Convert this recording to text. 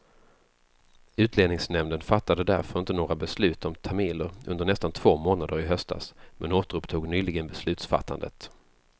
Utlänningsnämnden fattade därför inte några beslut om tamiler under nästan två månader i höstas, men återupptog nyligen beslutsfattandet.